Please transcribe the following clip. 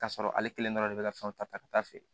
K'a sɔrɔ ale kelen dɔrɔn de bɛ ka fɛnw ta ka taa feere